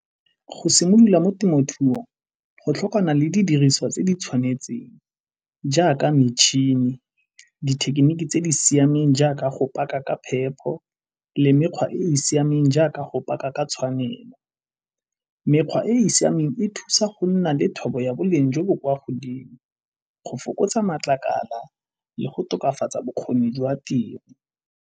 Go simolola mo temothuong go tlhokana le di diriswa tse di tshwanetseng jaaka metšhini, dithekeniki tse di siameng jaaka go paka ka phepho le mekgwa e e siameng jaaka go paka ka tshwanelo. Mekgwa e e siameng e thusa go nna le thobo ya boleng jo bo kwa godimo, go fokotsa matlakala le go tokafatsa bokgoni jwa tiro.